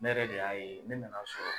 Ne yɛrɛ de y'a ye ne nan'a sɔrɔ